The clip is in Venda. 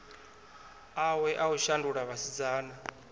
awe a u shandula vhasidzana